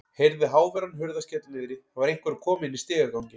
Heyrði háværan hurðarskell niðri, það var einhver að koma inn í stigaganginn.